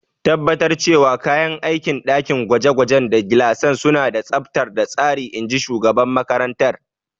Tabbatar cewa kayan aikin dakin gwaje-gwaje da gilasan suna da tsabta da tsari, in ji shugaban makarantar.